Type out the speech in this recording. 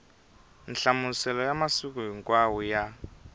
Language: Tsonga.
nhlamuselo ya masiku hinkwawo ya